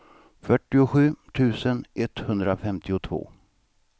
fyrtiosju tusen etthundrafemtiotvå